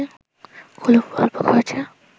খুব অল্প খরচে